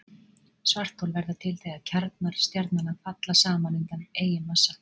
Svarthol verða til þegar kjarnar stjarnanna falla saman undan eigin massa.